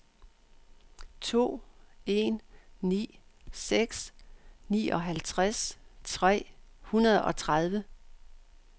to en ni seks nioghalvtreds tre hundrede og tredive